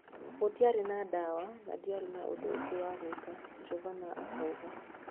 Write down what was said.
"Gũtiarĩ na dawa na ndiarĩ na ũndũ ũngĩ wa gwika," Jovana akauga.